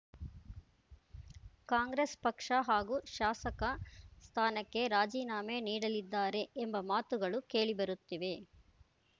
ಕಾಂಗ್ರೆಸ್ ಪಕ್ಷ ಹಾಗೂ ಶಾಸಕ ಸ್ಥಾನಕ್ಕೆ ರಾಜೀನಾಮೆ ನೀಡಲಿದ್ದಾರೆ ಎಂಬ ಮಾತುಗಳು ಕೇಳಿ ಬರುತ್ತಿವೆ